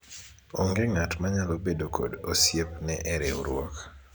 onge ng'at manyalo bedo kod osiepne e riwruok